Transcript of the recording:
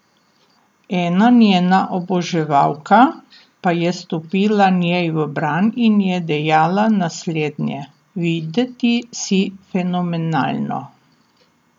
Ena njena oboževalka pa je stopila njej v bran in je dejala naslednje: ''Videti si fenomenalno!